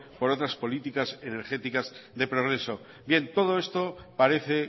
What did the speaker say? por otras políticas energéticas de progreso bien todo esto parece